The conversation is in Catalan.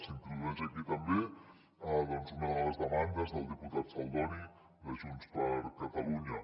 s’introdueix aquí també una de les demandes del diputat saldoni de junts per catalunya